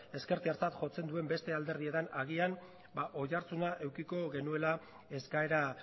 ezkertiartzat jotzen duen beste alderdietan agian oihartzuna edukiko genuela eskaera